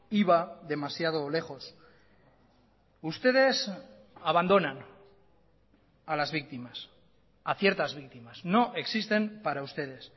iba demasiado lejos ustedes abandonan a las víctimas a ciertas víctimas no existen para ustedes